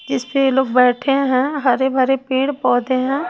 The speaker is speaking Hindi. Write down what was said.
जीसपे ये लोग बैठे हैं हरे भरे पेड़ पौधे हैं।